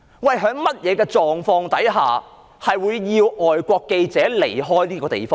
在甚麼狀況之下，會要求外國記者離開這個地方？